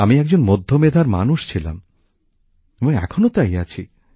আমি একজন মধ্যমেধার মানুষ ছিলাম এবং এখনও তাই আছি